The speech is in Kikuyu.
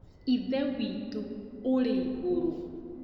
Ithe witũ ũrĩ igũrũ